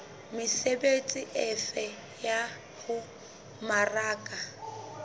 mesebetsi efe ya ho mmaraka